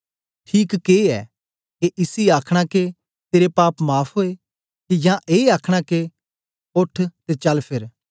ठीक के ऐ के इसी आखना के तेरे पाप माफ़ ओए के या ए आखना के ओठ ते चल फेर